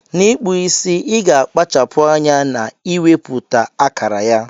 Na ikpụ isi iga akpachapu anya na iweputa akara ya.